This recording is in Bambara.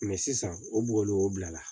sisan o bɔgɔ le o bila la